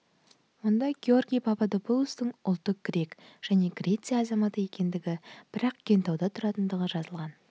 онда георгий пападопулостың ұлты грек және греция азаматы екендігі бірақ кентауда тұратындығы жазылған